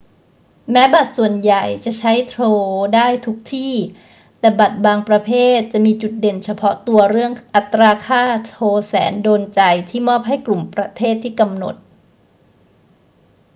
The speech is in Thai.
แม้บัตรส่วนใหญ่จะใช้โทรได้ทุกที่ แต่บัตรบางประเภทจะมีจุดเด่นเฉพาะตัวเรื่องอัตราค่าโทรแสนโดนใจที่มอบให้กลุ่มประเทศที่กำหนด